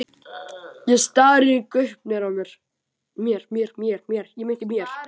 Ég stari í gaupnir mér.